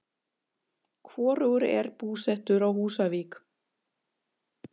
Hvorugur er búsettur á Húsavík.